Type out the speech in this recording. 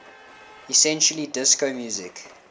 essentially disco music